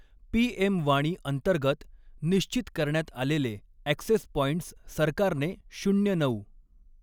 PM Wani अंतर्गत निश्चित करण्यात आलेले ॲक्सेस पाँईंटस सरकारने नऊ.